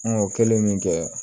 An o kɛlen min kɛ